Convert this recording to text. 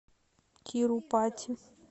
тирупати